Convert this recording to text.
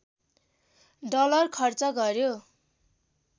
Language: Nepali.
डलर खर्च गर्‍यो